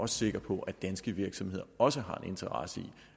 sikker på at danske virksomheder også har en interesse i